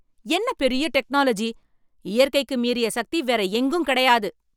என்ன பெரிய டெக்னலாஜி, இயற்கைக்கு மீறிய சக்தி வேற எங்கும் கிடையாது.